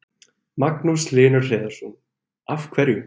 Magnús Hlynur Hreiðarsson: Af hverju?